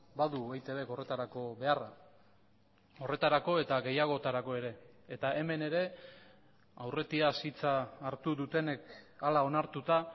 badu eitbk horretarako beharra horretarako eta gehiagotarako ere eta hemen ere aurretiaz hitza hartu dutenek hala onartuta